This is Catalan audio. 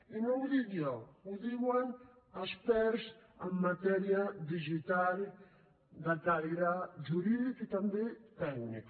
i no ho dic jo ho diuen experts en matèria digital de caire jurídic i també tècnic